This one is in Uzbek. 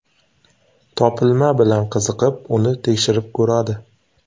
Topilma bilan qiziqib, uni tekshirib ko‘radi.